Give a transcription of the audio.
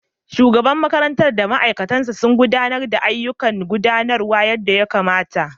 Shugaban makarantar da mataimakinsa sun gudanar da ayyukan gudanarwa yadda ya kamata.